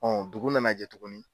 dugu nana jɛ tugunni.